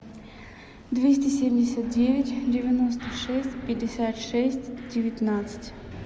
двести семьдесят девять девяносто шесть пятьдесят шесть девятнадцать